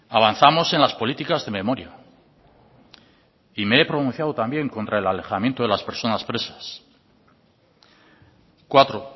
avanzamos en las políticas de memoria y me he pronunciado también contra el alejamiento de las personas presas cuatro